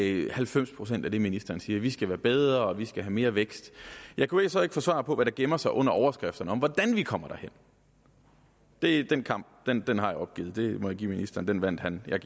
i halvfems procent af det ministeren siger vi skal være bedre og vi skal have mere vækst jeg kunne så ikke få svar på hvad der gemmer sig under overskrifterne til hvordan vi kommer derhen den kamp har jeg opgivet det må jeg give ministeren den vandt han